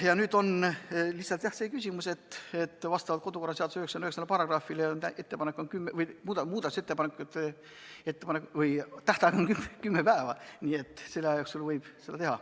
Nüüd on lihtsalt see küsimus, et meie kodu- ja töökorra seaduse § 99 järgi on muudatusettepanekute esitamise tähtaeg kümme päeva, nii et selle aja jooksul võib neid teha.